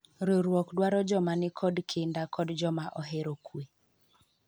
riwruok dwaro joma nikod kinda kod joma ohero kwe